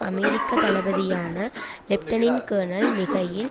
அமெரிக்க தளபதியான lieutenant colonel Mikhail